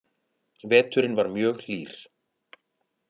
Veturinn var mjög hlýr